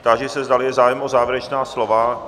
Táži se, zdali je zájem o závěrečná slova?